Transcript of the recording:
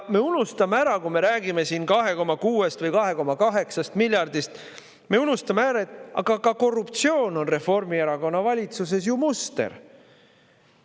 Ja kui me räägime siin 2,6 või 2,8 miljardist, me unustame ära, et ka korruptsioon on Reformierakonna valitsuses ju muster.